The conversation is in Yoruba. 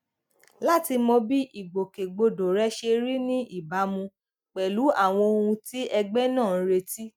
láti mọ bí ìgbòkègbodò rẹ ṣe rí ní ìbámu pẹlú àwọn ohun tí ẹgbẹ náà ń retí